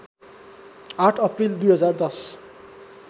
८ April २०१०